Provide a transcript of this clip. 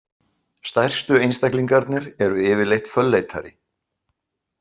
Stærstu einstaklingarnir eru yfirleitt fölleitari.